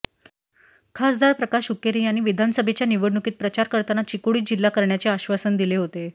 खासदार प्रकाश हुक्केरी यांनी विधानसभेच्या निवडणुकीत प्रचार करताना चिकोडी जिल्हा करण्याचे आश्वासन दिले होते